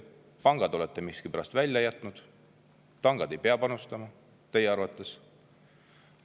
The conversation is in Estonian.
Pangad olete miskipärast välja jätnud, pangad ei pea panustama teie arvates.